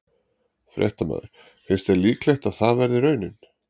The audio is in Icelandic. Fréttamaður: Finnst þér líklegt að það verði raunin?